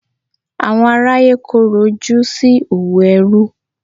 Àwọn aráyé korò ojú sí òwò ẹrú.